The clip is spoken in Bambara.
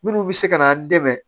Minnu bɛ se ka n'an dɛmɛ